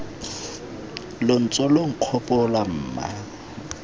lo ntse lo nkgopola mma